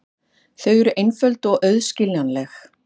Þau eru einföld og auðskiljanleg.